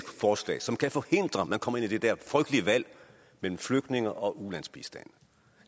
forslag som kan forhindre at man kommer ud i det der frygtelige valg mellem flygtninge og ulandsbistand